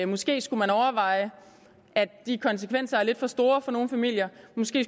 måske skulle overveje at konsekvenserne er lidt for store for nogle familier